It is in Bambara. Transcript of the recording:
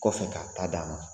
Kɔfɛ , k'a ta d d'a ma.